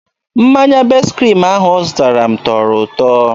Mmanya best kriim ahụ ọ zụtara m tọrọ ụtọ.